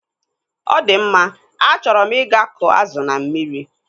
Ọdịmma, achọrọ m ịga kụọ azụ na mmiri.